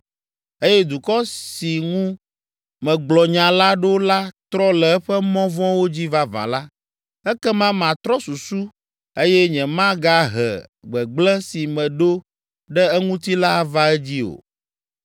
eye dukɔ si ŋu megblɔ nya la ɖo la trɔ le eƒe mɔ vɔ̃wo dzi vavã la, ekema matrɔ susu eye nyemagahe gbegblẽ si meɖo ɖe eŋuti la ava edzi o.